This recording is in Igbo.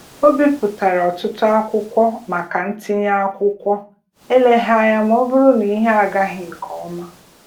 Ọ bipụtara ọtụtụ akwụkwọ maka ntinye akwụkwọ eleghị anya maọbụrụ na ihe agaghị nkeọma.